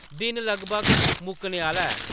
“दिन लगभग मुक्कने आह्‌ला ऐ ।